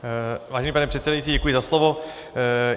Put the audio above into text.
Vážený pane předsedající, děkuji za slovo.